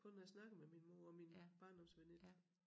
Kun når jeg snakker med min mor og min barndomsveninde